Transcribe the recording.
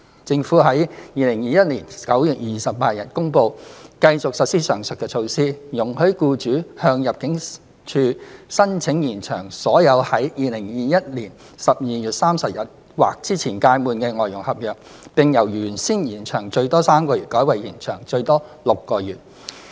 政府於2021年9月28日公布繼續實施上述措施，容許僱主向入境處申請延長所有在2021年12月31日或之前屆滿的外傭合約，並由原先延長最多3個月改為延長最多6個月。